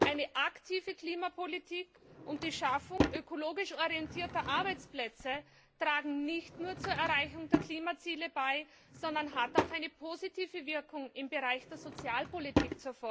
Eine aktive Klimapolitik und die Schaffung ökologisch orientierter Arbeitsplätze tragen nicht nur zur Erreichung der Klimaziele bei, sondern haben auch eine positive Wirkung im Bereich der Sozialpolitik.